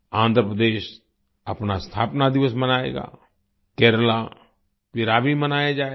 आंध्र प्रदेश अपना स्थापना दिवस मनाएगा केरला पिरावि मनाया जाएगा